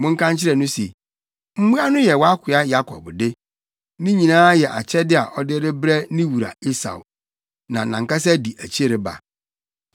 Monka nkyerɛ no se, ‘Mmoa no yɛ wʼakoa Yakob de. Ne nyinaa yɛ akyɛde a ɔde rebrɛ ne wura Esau, na nʼankasa di akyi reba.’ ”